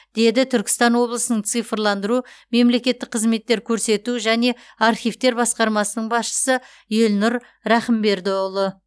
деді түркістан облысының цифрландыру мемлекеттік қызметтер көрсету және архивтер басқармасының басшысы елнұр рахымбердіұлы